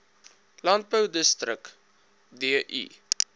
landbou dirk du